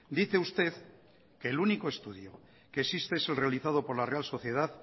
dice usted que el único estudio que existe es el realizado por la real sociedad